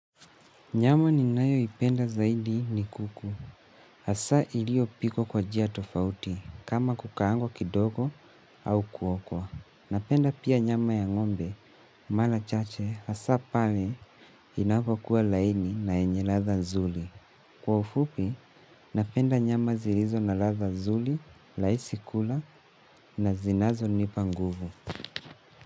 Nyama ni nayo ipenda zaidi ni kuku. Hasa iliyo pikwa kwa jia tofauti, kama kukaangwa kidogo au kuokwa. Napenda pia nyama ya ngombe, mala chache, hasa pale inavo kuwa laini na yenye latha nzuli. Kwa ufupi, napenda nyama zirizo na latha nzuli, laisi kula na zinazo nipa nguvu.